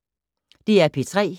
DR P3